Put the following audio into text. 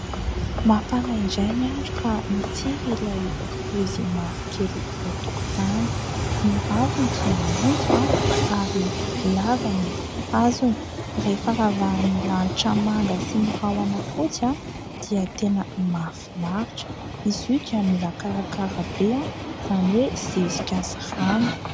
Mafana indray ny andro ka mitsiry ilay raozy mavokely eo an-tokotany. Ny raviny dia maitso ary lava ny hazony. Rehefa ravahan'ny lanitra manga sy ny rahona fotsy dia tena mahafinaritra. Izy io dia mila karakara be, izany hoe zezika sy rano.